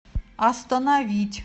остановить